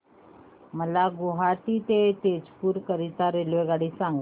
मला गुवाहाटी ते तेजपुर करीता रेल्वेगाडी सांगा